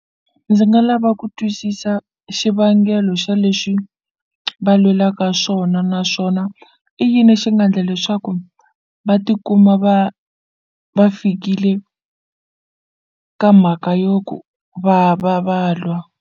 Ndzi nga lava ku twisisa xivangelo xa leswi va lwelaka swona naswona i yini xi nga ndla leswaku va tikuma va va fikile ka mhaka yo ku va va va lwa.